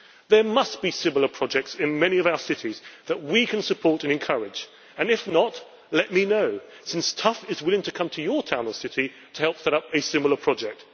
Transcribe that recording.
There must be similar projects in many of our cities that we can support and encourage, and if not, let me know, since TUFF is willing to come to your town or city to help set up a similar project.